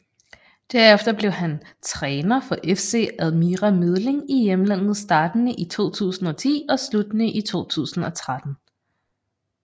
Derefter blev hen træner for FC Admira Mödling i hjemmelandet startende i 2010 og sluttende i 2013